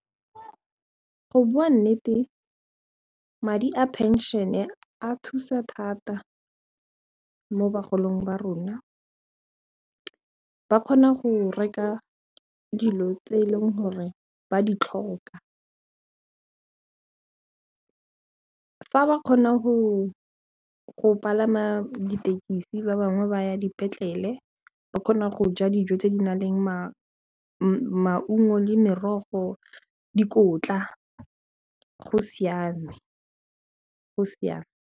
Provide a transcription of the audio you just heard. Go bua nnete madi a pension-e a thusa thata mo bagolong ba rona ba kgona go reka dilo tse e leng gore ba ditlhokwa fa ba kgona go palama dithekisi ba bangwe ba ya dipetlele ba kgona go ja dijo tse di nang le maungo le merogo dikotla go siame go siame.